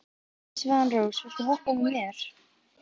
Svanrós, viltu hoppa með mér?